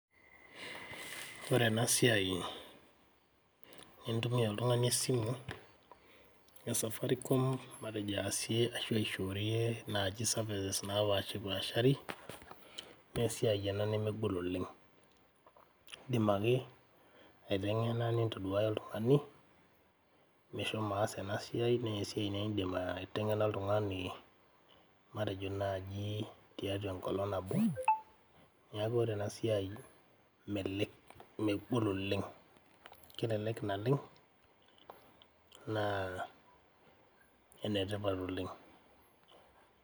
Ore enasiai, nintumia oltung'ani esimu, e Safaricom matejo aasie ashu aishoorie naji services napashipashari, nesiai ena nemegol oleng'. Idim ake aiteng'ena nintoduaya oltung'ani, meshomo aas enasiai, nesiai naa idim aiteng'ena oltung'ani matejo naji tiatua enkolong' nabo. Neeku ore enasiai megol oleng'. Kelelek naleng',naa enetipat oleng'.